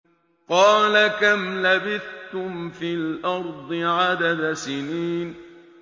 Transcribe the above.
قَالَ كَمْ لَبِثْتُمْ فِي الْأَرْضِ عَدَدَ سِنِينَ